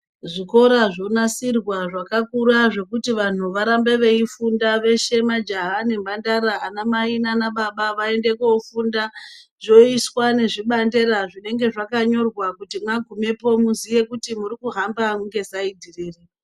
Zvikora zvonasirwa zvakakura zvekuti vanhu varambe veifunda veshe majaha nemhandara anamai naanababa vaende koofunda. Zvoiswa nevibandela zvinenge zvakanyorwa kuti magumepo muziye kuti murikuhamba ngesaidhi riri.